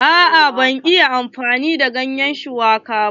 A'a ban iya dafa ganyen shuwaka ba.